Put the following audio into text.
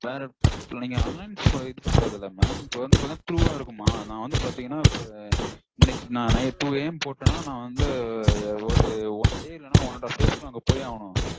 வேற நீங்க online இது பண்றதில்ல mam இப்போ வந்து பாத்தீங்கனா through இருக்குமா? நா வந்து பாத்தீங்கனா இப்போ இன்னைக்கு two AM போட்டேன்னா னா வந்து ஒரு one day one and half days -ல நா போயே ஆகனும்